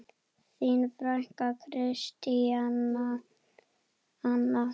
Þín frænka, Kristín Anna.